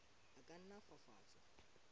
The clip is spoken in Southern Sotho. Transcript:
a ka nna a fafatswa